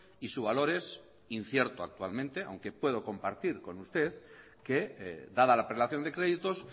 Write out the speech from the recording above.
y su valor es incierto actualmente aunque puedo compartir con usted que dada la apelación de créditos